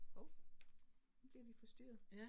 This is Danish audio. Hov, nu bliver vi forstyrret